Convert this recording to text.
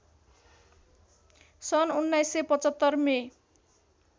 सन् १९७५ मे